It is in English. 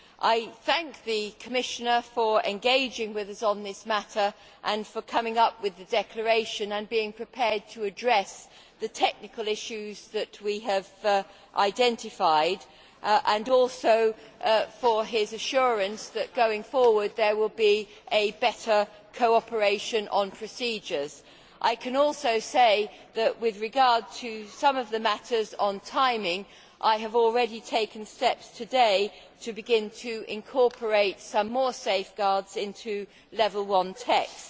I thank the Commissioner for engaging with us on this matter, coming up with the declaration and being prepared to address the technical issues that we have identified, as well as for the Commissioner's assurance that there will be a better cooperation on procedures going forward. I can also say that, with regard to some of the matters on timing, I have already taken steps today to begin to incorporate some more safeguards into level 1 texts.